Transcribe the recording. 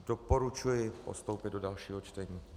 Doporučuji postoupit do dalšího čtení.